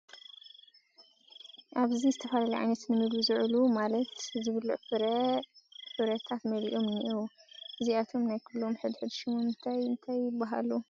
ኣብዚ ዝተፈላለዩ ዓይነታት ንምግቢ ዝውዕሉ ማለት ዝብልዑ ፍራ ፍረታት መሊኦም እንኤዉ፡ እዚኣቶም ናይ ኹሎም ሕድሕድ ሽሞም እንታይ እንታይ ይበሃሉ ?